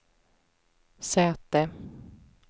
säte